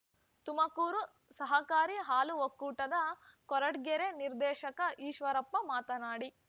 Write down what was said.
ತುಮಕೂರು ಸಹಕಾರಿ ಹಾಲು ಒಕ್ಕೂಟದ ಕೊರಟಗೆರೆ ನಿರ್ದೇಶಕ ಈಶ್ವರಪ್ಪ ಮಾತನಾಡಿ